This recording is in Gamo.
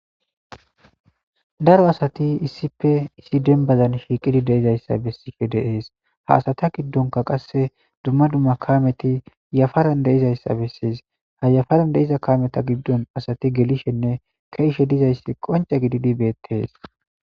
daro asati issife issi dembazan shiiqidi deizayssa bessife deees ha asata giddonka qasse dumma dumma kameti yafaran deizayssa bessies ha yafaran deiza kameta giddon asati gelishenne keishe dizayssi qonce gididi beettees